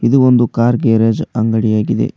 ಇದು ಒಂದು car garage ಅಂಗಡಿಯಾಗಿದೆ.